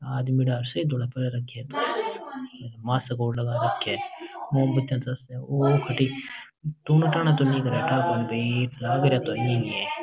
आदमी स ही भळै हो रखे मास्क और लगा रखे मोमबत्ती चसे --